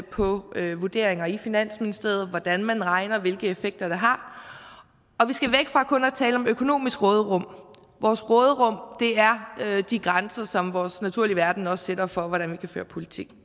på vurderinger i finansministeriet hvordan man regner hvilke effekter det har og vi skal væk fra kun at tale om økonomisk råderum vores råderum er de grænser som vores naturlige verden også sætter for hvordan vi kan føre politik